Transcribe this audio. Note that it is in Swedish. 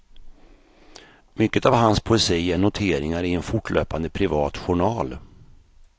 Mycket av hans poesi är noteringar i en fortlöpande privat journal.